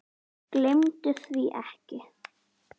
Þeir biðu átekta.